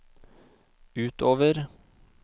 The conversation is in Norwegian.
utover